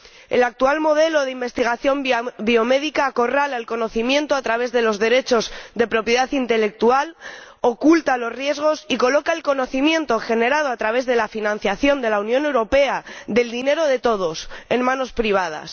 El actual modelo de investigación biomédica acorrala el conocimiento a través de los derechos de propiedad intelectual, oculta los riesgos y coloca el conocimiento generado a través de la financiación de la Unión Europea, del dinero de todos, en manos privadas.